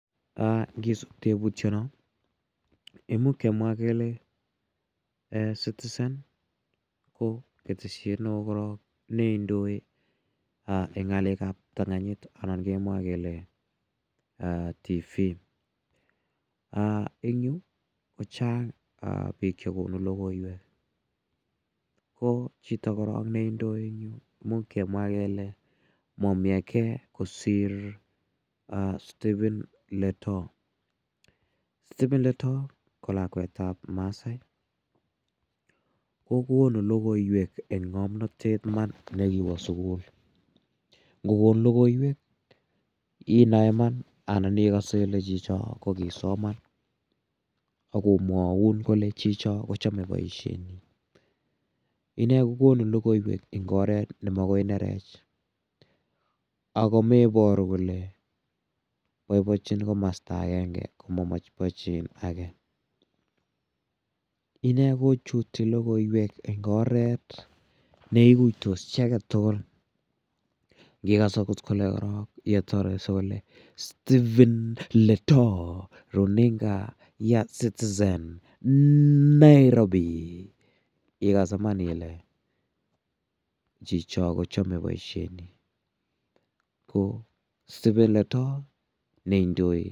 Ngisup tebutyono imuuch kemwa kele citizen ko keteshiet ne oo korok ne indoi eng' ng'alekab ptang'anyit anan kemwa kele TV ing' yu kochang' biik chekonu lokoiwek ko chito korok neindoi eng' yu muuch kemwa kele momi age kosir Stephen Letoo Stephen Letoo ko lakwetab masaai kokonu lokoiwek eng' ng'omnotet iman nekiwo sukul ngokon lokoiwek inoe iman anan ikose ile chicho kokisoman akomwoun kole chicho kochomei boishenyi ine kokonu lokoiwek ing' oret nemakoi inerech ako meboru kole boiboichin komosta agenge komaboiboichin age ine kochuti lokoiwek eng' oret neikuitos chi age tugul ngikas akot kole korok yetorei sikole Stephen Letoo runinga ya citizen Nairobi ikas iman ile chicho kochomei boishenyi ko Stephen Letoo neindoi